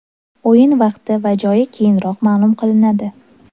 O‘yin vaqti va joyi keyinroq ma’lum qilinadi.